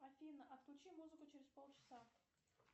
афина отключи музыку через полчаса